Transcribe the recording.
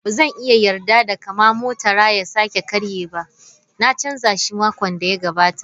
Ba zan iya yarda da kama motara ya sake karye ba, na canza shi makon da ya gabata.